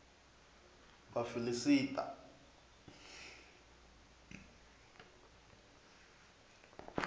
vhafiḽista